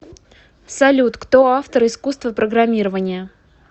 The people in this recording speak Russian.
салют кто автор искусство программирования